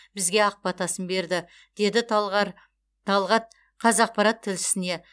бізге ақ батасын берді деді талғат қазақпарат тілшісіне